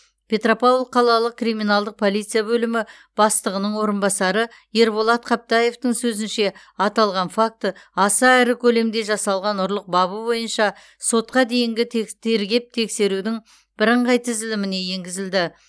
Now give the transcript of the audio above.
петропавл қалалық криминалдық полиция бөлімі бастығының орынбасары ерболат қаптаевтың сөзінше аталған факті аса ірі көлемде жасалған ұрлық бабы бойынша сотқа дейінгі текс тергеп тексерудің бірыңғай тізіліміне енгізілді